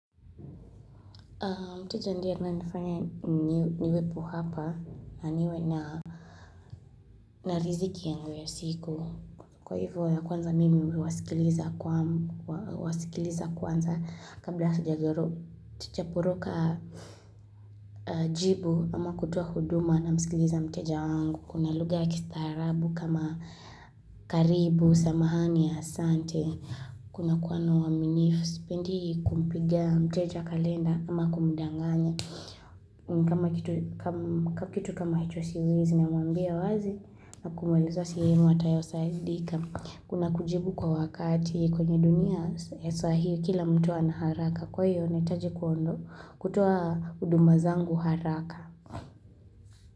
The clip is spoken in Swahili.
Mteja ndiye anaye nifanya niwepo hapa na niwe na riziki yangu ya siku kwa hivyo ya kwanza mimi nawasikiliza kwanza kabla sijaropoka Jibu ama kutoa huduma namsikiliza mteja wangu kuna lugha ya kistarabu kama karibu samahani asante kuna kuwa na uaminifu sipendi kumpiga mteja kalenda ama kumdanganya kama kitu kama icho siwezi na mwambia wazi na kumweleza sehemu atakayo saidika kuna kujibu kwa wakati kwenye dunia ya sasa hivi kila mtu ana haraka kwahiyo nahitaji kutoa huduma zangu haraka.